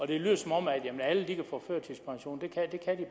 det lyder som om alle kan få førtidspension